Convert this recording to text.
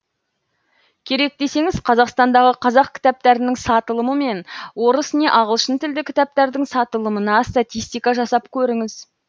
керек десеңіз қазақстандағы қазақ кітаптарының сатылымы мен орыс не ағылшын тілді кітаптардың сатылымына статистика жасап көріңіз